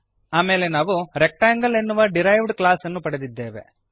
ಆಮೇಲೆ ನಾವು ರೆಕ್ಟಾಂಗಲ್ ಎನ್ನುವ ಡಿರೈವ್ಡ್ ಕ್ಲಾಸ್ ನ್ನು ಪಡೆದಿದ್ದೇವೆ